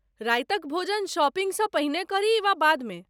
रातिक भोजन शॉपिंगसँ पहिने करी वा बादमे?